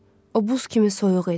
O buz kimi soyuq idi.